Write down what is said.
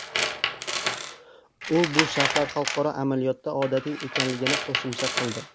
U bu shartlar xalqaro amaliyotda odatiy ekanligini qo‘shimcha qildi.